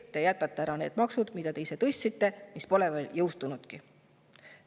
Te jätate ära need maksud, mida te ise tõstsite, aga mis pole veel jõustunudki.